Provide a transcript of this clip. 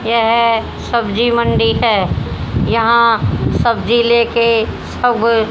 यह सब्जी मंडी है यहां सब्जी लेके सब--